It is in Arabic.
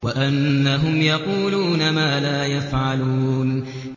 وَأَنَّهُمْ يَقُولُونَ مَا لَا يَفْعَلُونَ